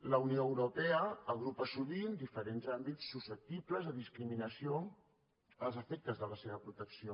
la unió europea agrupa sovint diferents àmbits susceptibles de discriminació als efectes de la seva protecció